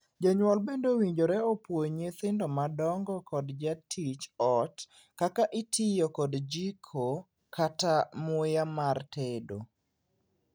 Jonyuol bende owinjore opuonj nyithindo madongo kod jatij ot kaka itiyo kod jiko kata muya mar tedo.